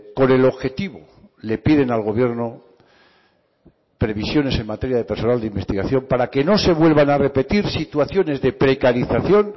con el objetivo le piden al gobierno previsiones en materia de personal de investigación para que no se vuelvan a repetir situaciones de precarización